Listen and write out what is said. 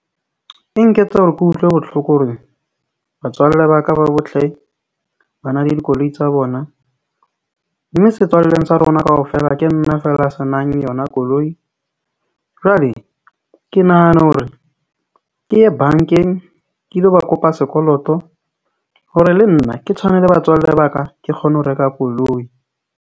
E nketsa hore ke utlwe botlhoko horeng batswalle ba ka ba bohle ba na le dikoloi tsa bona. Mme setswalleng sa rona kaofela ke nna feela a se nang yona koloi. Jwale ke nahana hore ke ye bank-eng ke lo ba kopa sekoloto hore le nna ke tshwane le batswalle ba ka. Ke kgone ho reka koloi.